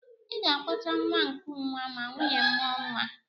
Ị ga-akpọta nwa nkụnwa ma nwunye m mụọ nwa